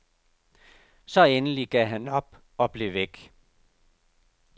Så endelig gav han op og blev væk.